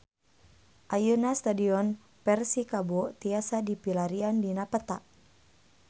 Ayeuna Stadion Persikabo tiasa dipilarian dina peta